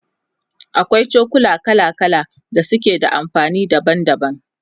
akwai cokula kala kala da suke da amfani daban daban